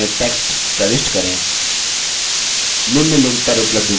इन boxes में text प्रविष्ट करें